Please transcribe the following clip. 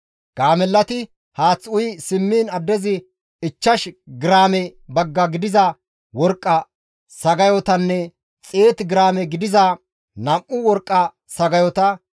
Gaamellati haath uyi simmiin addezi ichchash giraame bagga gidiza worqqa sagayotanne 100 giraame gidiza nam7u worqqa sagayota,